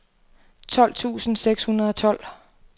tolv tusind seks hundrede og tolv